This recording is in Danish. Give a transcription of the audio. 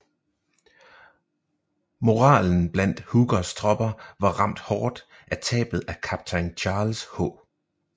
Moralen blandt Hookers tropper var ramt hård af tabet af kaptajn Charles H